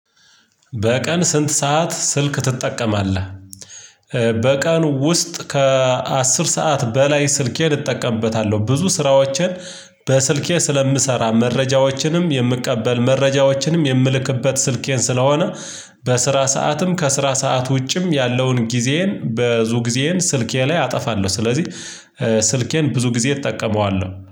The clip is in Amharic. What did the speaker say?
በቀን ስንት ሰዓት ስልክ ትጠቀማለህ? በቀን ውስጥ ከአስር ሰዓት በላይ ስልኬን እጠቀምበታለሁ ብዙ ስራዎችን በስልኬ ስለምሰራ መረጃዎችንም የምቀበል መረጃዎችንም የምልክበት ስልኬን ስለሆነ በስራ ሰዓትም ከስራ ሰዓት ውጭም ያለውን ጊዜዬን በብዙ ጊዜዬን ስልኬ ላይ አጠፋለሁ ስለዚህ ስልኬን ብዙ ጊዜ እጠቀመዋለሁ።